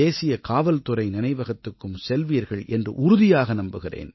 தேசிய காவல்துறை நினைவகத்துக்கும் செல்வீர்கள் என்று உறுதியாக நம்புகிறேன்